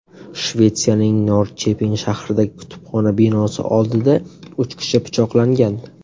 Shvetsiyaning Norrcheping shahridagi kutubxona binosi oldida uch kishi pichoqlangan.